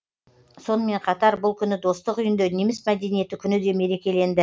сонымен қатар бұл күні достық үйінде неміс мәдениеті күні де мерекеленді